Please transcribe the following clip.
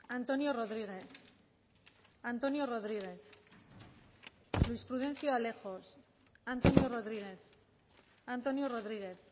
antonio rodriguez antonio rodriguez luis prudencio alejos antonio rodriguez antonio rodriguez